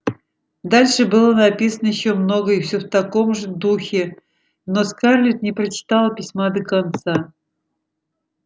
дальше было написано ещё много и всё в таком же духе но скарлетт не прочитала письма до конца